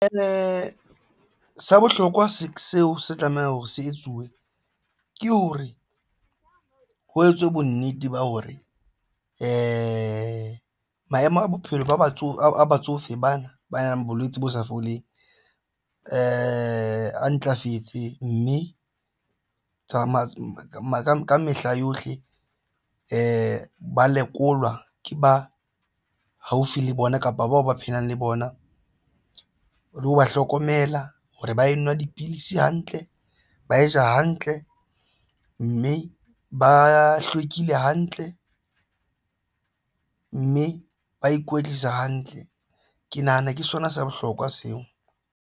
Sa bohlokwa seo se tlamehang ho se etsuwe ke hore ho etswe bonnete ba hore ea maemo a bophelo ba batsofe batsofe bana ba yang bolwetse bo sa foleng a ntlafetse mme tsa mo mo ka mehla yohle ba lekolwa ke ba haufi le bona kapa bao ba phelang le bona le ho ba hlokomela hore ba e nwa dipidisi hantle ba ja hantle mme ba hlwekile hantle mme ba ikwetlisa hantle. Ke nahana ke sona se bohlokwa seo.